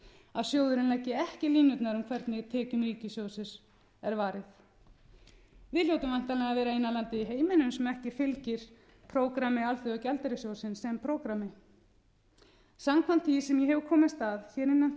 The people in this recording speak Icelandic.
að sjóðurinn leggi ekki línurnar um hvernig tekjum ríkissjóðs er varið við hljótum væntanlega að vera eina landið í heiminum sem ekki fylgir prógrammi alþjóðagjaldeyrissjóðsins sem prógrammi samkvæmt því sem ég hef komist að hér innan